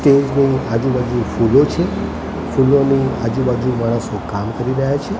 Stage ની આજુબાજુ ફૂલો છે ફૂલોની આજુબાજુ માણસો કામ કરી રહ્યા છે.